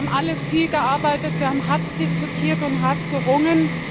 Wir haben alle viel gearbeitet, wir haben hart diskutiert und hart gerungen.